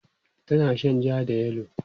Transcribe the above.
tana Shan jaa da yellow